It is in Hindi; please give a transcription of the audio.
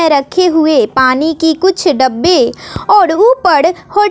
रखे हुए पानी की कुछ डब्बे और ऊपर हो--